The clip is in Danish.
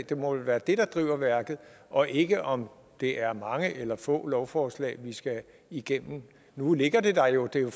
det må vel være det der driver værket og ikke om det er mange eller få lovforslag vi skal igennem nu ligger det der jo det